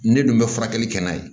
Ne dun bɛ furakɛli kɛ n'a ye